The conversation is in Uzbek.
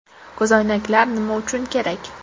Ko‘zoynaklar nima uchun kerak?